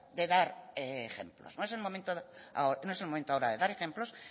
de dar ejemplos no es el momento ahora no es momento ahora de dar ejemplos